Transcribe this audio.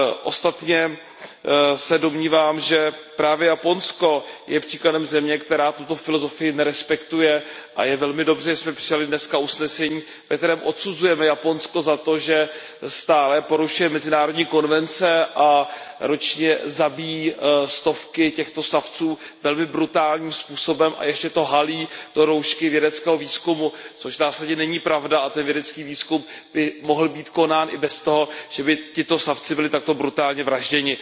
Ostatně se domnívám, že právě Japonsko je příkladem země, která tuto filozofii nerespektuje, a je velmi dobře, že jsme přijali dneska usnesení, ve kterém odsuzujeme Japonsko za to, že stále porušuje mezinárodní konvence a ročně zabíjí stovky těchto savců velmi brutálním způsobem a ještě to halí do roušky vědeckého výzkumu, což v zásadě není pravda, a ten vědecký výzkum by mohl být konán i bez toho, že by tito savci byli takto brutálně vražděni.